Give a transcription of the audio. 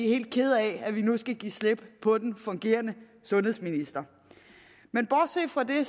helt kede af at vi nu skal give slip på den fungerende sundhedsminister men bortset fra det